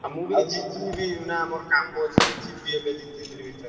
ଆଉ ମୁଁ ବି ଯିବି ବା ମୋର କାମ ଅଛି ଯିବି ଏବେ ଦି ତିନି ଦିନି ଭିତରେ।